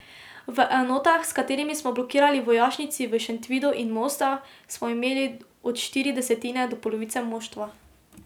V enotah, s katerimi smo blokirali vojašnici v Šentvidu in Mostah, smo imeli od štiri desetine do polovice moštva.